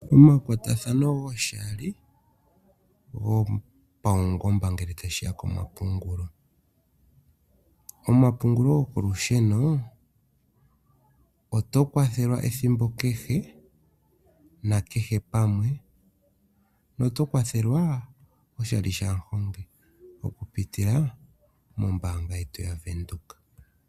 Omakwatathano goshali gopangomba ngele tashi ya pomapungulo. Omapungulo gokolusheno, oto kwathelwa ethimbo kehe nakehe pamwe noto kwathelwa oshali shamuhongi okupitila mombaanga yetu yaVenduka.